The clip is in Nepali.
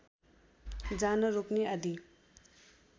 जान रोक्ने आदि